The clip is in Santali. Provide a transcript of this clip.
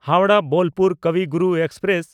ᱦᱟᱣᱲᱟᱦ–ᱵᱳᱞᱯᱩᱨ ᱠᱚᱵᱤ ᱜᱩᱨᱩ ᱮᱠᱥᱯᱨᱮᱥ